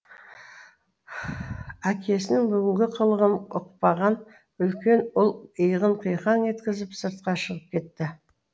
әкесінің бүгінгі қылығын ұқпаған үлкен ұл иығын қиқаң еткізіп сыртқа шығып кетті